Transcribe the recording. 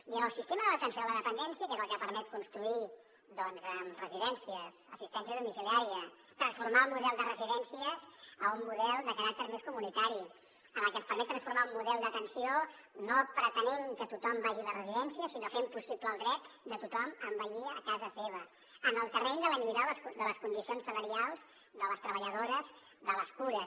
i en el sistema de l’atenció a la dependència que és el que permet construir doncs residències assistència domiciliària transformar el model de residències a un model de caràcter més comunitari en el que se’ns permet transformar un model d’atenció no pretenent que tothom vagi a les residències sinó fent possible el dret de tothom a envellir a casa seva en el terreny de la millora de les condicions salarials de les treballadores de les cures